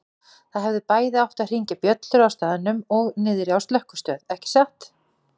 Það hefðu bæði átt að hringja bjöllur á staðnum og niðri á slökkvistöð, ekki satt?